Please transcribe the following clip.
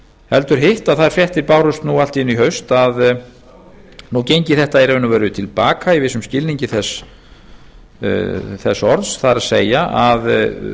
heldur hitt að þær fréttir bárust nú allt í einu í haust að nú gengi þetta í raun og veru til baka í vissum skilningi þess orðs það er að